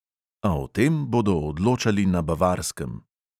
A o tem bodo odločali na bavarskem.